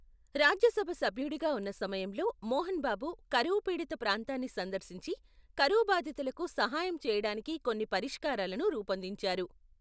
రాజ్యసభ సభ్యుడిగా ఉన్న సమయంలో, మోహన్ బాబు కరువు పీడిత ప్రాంతాన్ని సందర్శించి, కరువు బాధితులకు సహాయం చేయడానికి కొన్ని పరిష్కారాలను రూపొందించారు.